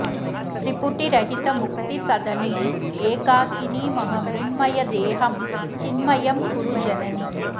त्रिपुटिरहित मुक्तिसदने एकाकिनि मम मृण्मय देहं चिन्मयं कुरु जननि